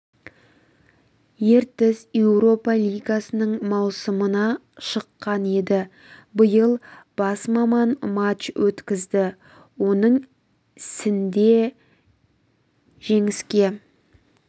ертіс еуропа лигасының маусымына шыққан еді ал биыл бас маман матч өткізді оның сінде жеңіске